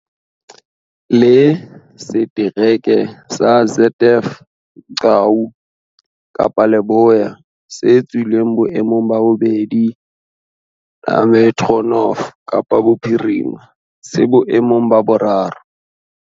Le Setereke sa ZF Mgcawu, Kapa Leboya se tswileng boemong ba bobedi le Metro North, Kapa Bophirima, se boemong ba boraro.